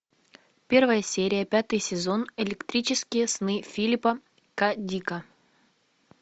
первая серия пятый сезон электрические сны филипа к дика